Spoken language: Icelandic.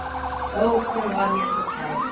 Ó, því hún var mér svo kær.